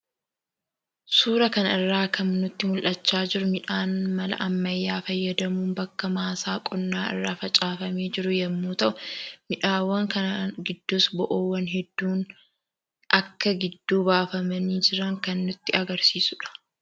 Suuraa kana irraa kan nutti mul'achaa jiru miidhaan mala ammayyaa fayyadamuun bakka maasaa qonnaa irra facaafamee jiru yammuu ta'u; miidhaawwan kanan gidduus bo'oowwan hedduun akka gidduu baafamanii jiran kan nutti agarsiisuudha.